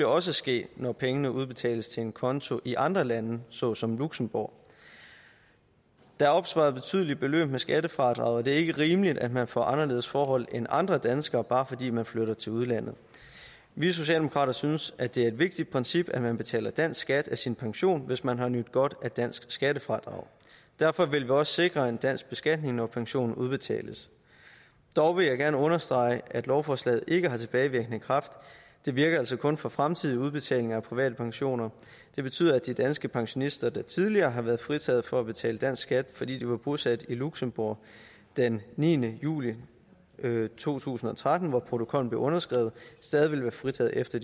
også ske når pengene udbetales til en konto i andre lande såsom luxembourg der er opsparet betydelige beløb med skattefradrag og det er ikke rimeligt at man får anderledes forhold end andre danskere bare fordi man flytter til udlandet vi socialdemokrater synes at det er et vigtigt princip at man betaler dansk skat af sin pension hvis man har nydt godt af dansk skattefradrag derfor vil vi også sikre en dansk beskatning når pensionen udbetales dog vil jeg gerne understrege at lovforslaget ikke har tilbagevirkende kraft det virker altså kun for fremtidige udbetalinger af private pensioner det betyder at de danske pensionister der tidligere har været fritaget for at betale dansk skat fordi de var bosat i luxembourg den niende juli to tusind og tretten hvor protokollen blev underskrevet stadig vil være fritaget efter